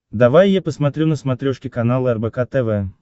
давай я посмотрю на смотрешке канал рбк тв